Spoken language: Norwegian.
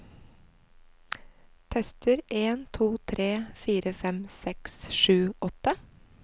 Tester en to tre fire fem seks sju åtte